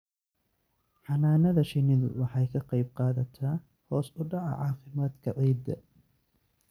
Xannaanada shinnidu waxay ka qayb qaadataa hoos u dhaca caafimaadka ciidda.